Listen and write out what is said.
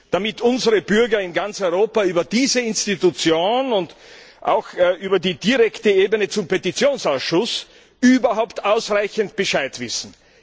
damit unsere Bürger in ganz Europa über diese Institution und auch über den direkten Weg zum Petitionsausschuss überhaupt ausreichend Bescheid wissen.